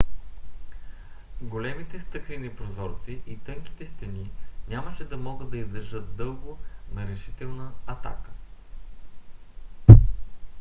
големите стъклени прозорци и тънките стени нямаше да могат да издържат дълго на решителна атака